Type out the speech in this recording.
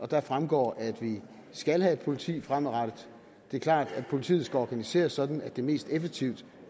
deraf fremgår at vi skal have et politi fremadrettet det er klart at politiet skal organiseres sådan at det mest effektivt